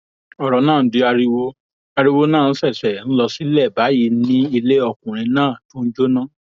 ọrọ náà di ariwo ariwo náà sì ṣẹṣẹ ń lọ sílẹ báyìí ni ilé ọkùnrin náà tún jóná